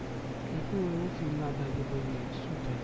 એકલું એવું feel ના થાય કે ભય શું થયું